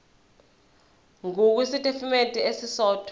ngur kwisitifikedi esisodwa